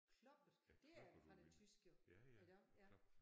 Kloppet det er fra det tysk jo iggå? ja